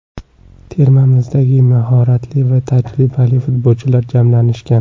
Termamizda mahoratli va tajribali futbolchilar jamlanishgan.